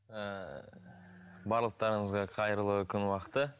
ііі барлықтарыңызға қайырлы күн уақыты